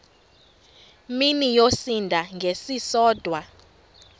mini yosinda ngesisodwa